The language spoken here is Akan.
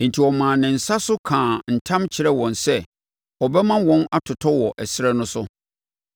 Enti ɔmaa ne nsa so kaa ntam kyerɛɛ wɔn sɛ ɔbɛma wɔn atotɔ wɔ ɛserɛ no so,